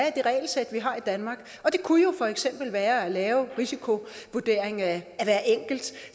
i det regelsæt vi har i danmark og det kunne jo for eksempel være at lave en risikovurdering af hver enkelt